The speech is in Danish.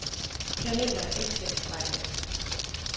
Planeter er ikke til at tage fejl af.